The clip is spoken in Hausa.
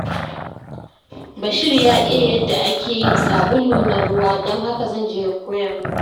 Bashir ya iya yadda ake yin sabulu na ruwa, don haka zan je ya koya mini.